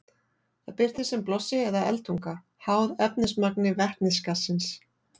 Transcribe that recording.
Það birtist sem blossi eða eldtunga, háð efnismagni vetnisgassins.